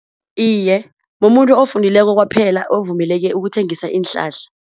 Iye, mumuntu ofundileko kwaphela ovumeleke ukuthengisa iinhlahla.